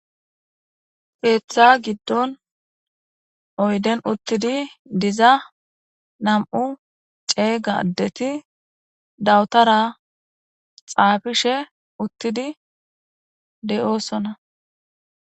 Keetha gidon uyden uthidi diza nam'u ceega asati dawutara xaafishe uthidi de'osona.